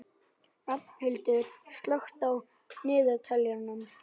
Hrafnhildur, slökktu á niðurteljaranum.